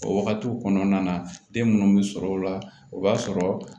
O wagatiw kɔnɔna na den munnu be sɔrɔ o la o b'a sɔrɔ